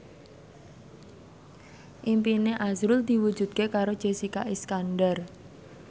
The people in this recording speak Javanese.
impine azrul diwujudke karo Jessica Iskandar